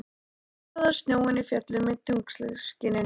Það glampaði á snjóinn í fjöllunum í tunglskininu.